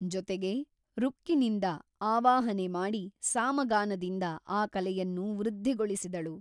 ಜೊತೆಗೆ ಋಕ್ಕಿನಿಂದ ಆವಾಹನೆ ಮಾಡಿ ಸಾಮಗಾನದಿಂದ ಆ ಕಲೆಯನ್ನು ವೃದ್ಧಿಗೊಳಿಸಿದಳು.